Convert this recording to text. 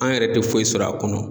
An yɛrɛ tɛ foyi sɔrɔ a kɔnɔ.